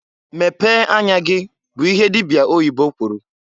"Mepee anya gi!" bụ ihe dibia oyibo kwuru.